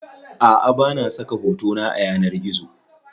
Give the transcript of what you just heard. Aʼa bana saka hotona a yanar gizo.